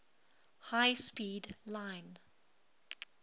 high speed line